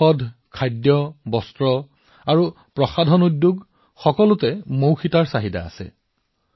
pharma উদ্যোগ খাদ্য উদ্যোগ বস্ত্ৰ আৰু প্ৰসাধনী উদ্যোগ সকলোতে মৌ মমৰ চাহিদা আছে